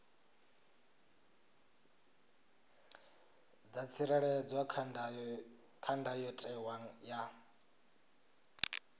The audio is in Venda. dza tsireledzwa kha ndayotewa ya